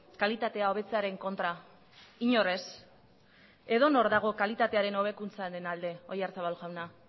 kalitatea hobetzearen kontra inor ez edonor dago kalitatearen hobekuntzaren alde oyarzabal jauna